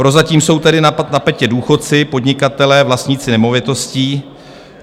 Prozatím jsou tady na tapetě důchodci, podnikatelé, vlastníci nemovitostí.